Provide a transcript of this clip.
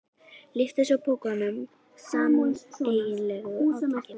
Lyftu svo pokanum með sameiginlegu átaki.